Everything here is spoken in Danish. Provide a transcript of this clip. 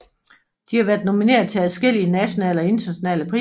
De har været nomineret til adskillige nationale og internationale priser